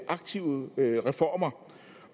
aktive reformer